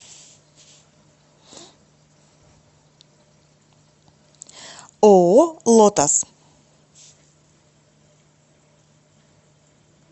ооо лотос